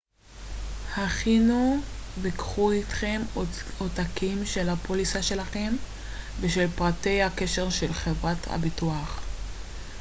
הכינו וקחו איתכם עותקים של הפוליסה שלכם ושל פרטי הקשר של חברת הביטוח